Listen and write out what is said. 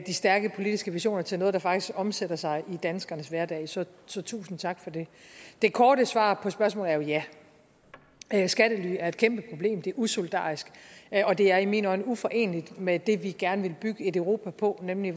de stærke politiske visioner og til noget der faktisk omsætter sig i danskernes hverdag så så tusind tak for det det korte svar på spørgsmålet er jo ja skattely er et kæmpeproblem det er usolidarisk og det er i mine øjne uforeneligt med det vi gerne vil bygge et europa på nemlig